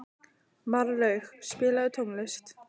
Marlaug, spilaðu tónlist.